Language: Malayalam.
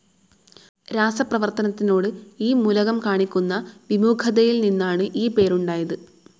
രാസപ്രവർത്തനത്തിനോട് ഈ മൂലകം കാണിക്കുന്ന വിമുഖതയിൽ നിന്നാണ് ഈ പേരുണ്ടായത്.